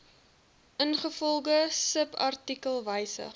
ingevolge subartikel wysig